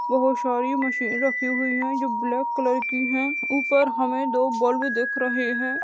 बहुत सारी मशीन रखी हुई है जो ब्लैक कलर की है ऊपर हमे दो बल्ब दिख रहे है।